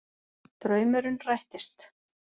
Draumurinn rættist